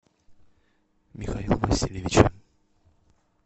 михаила васильевича